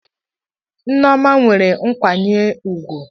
Nneoma nwere nkwanye ugwu.